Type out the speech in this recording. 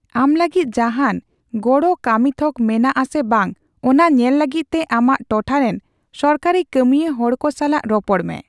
ᱟᱢ ᱞᱟᱹᱜᱤᱫ ᱡᱟᱦᱟᱱ ᱜᱚᱲᱚ ᱠᱟᱹᱢᱤᱛᱷᱚᱠ ᱢᱮᱱᱟᱜ ᱟᱥᱮ ᱵᱟᱝ ᱚᱱᱟ ᱧᱮᱞ ᱞᱟᱹᱜᱤᱫᱛᱮ ᱟᱢᱟᱜ ᱴᱚᱴᱷᱟᱨᱮᱱ ᱥᱚᱨᱠᱟᱨᱤ ᱠᱟᱹᱢᱤᱭᱟ ᱦᱚᱲᱠᱚ ᱥᱟᱞᱟᱜ ᱨᱚᱯᱚᱲ ᱢᱮ ᱾